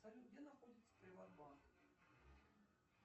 салют где находится приват банк